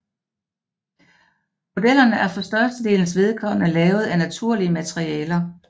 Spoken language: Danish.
Modellerne er for størstedelens vedkommende lavet af naturlige materialer